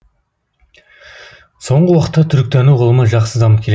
соңғы уақытта түркітану ғылымы жақсы дамып келеді